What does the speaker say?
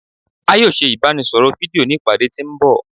A yoo se ibaraẹnisọrọ fidio ni ipade ti nbọ